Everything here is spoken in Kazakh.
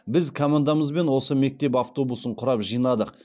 біз командамызбен осы мектеп автобусын құрап жинадық